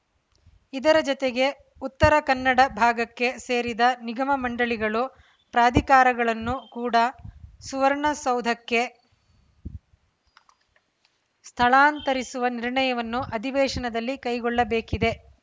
ಇದರ ಜತೆಗೆ ಉತ್ತರ ಕನ್ನಡ ಭಾಗಕ್ಕೆ ಸೇರಿದ ನಿಗಮ ಮಂಡಳಿಗಳು ಪ್ರಾಧಿಕಾರಗಳನ್ನು ಕೂಡ ಸುವರ್ಣಸೌಧಕ್ಕೆ ಸ್ಥಳಾಂತರಿಸುವ ನಿರ್ಣಯವನ್ನು ಅಧಿವೇಶದಲ್ಲಿ ಕೈಗೊಳ್ಳಬೇಕಿದೆ